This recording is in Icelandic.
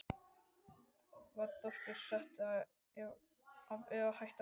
Var Börkur settur af eða hætti hann sjálfur?